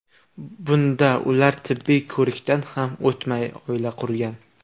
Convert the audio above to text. Bunda ular tibbiy ko‘rikdan ham o‘tmay oila qurgan.